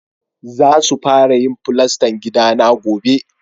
Za su fara yin fulastan gidana gobe.